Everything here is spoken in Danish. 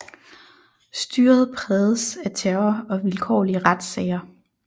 Styret prægedes af terror og vilkårlige retssager